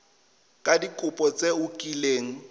ka dikopo tse o kileng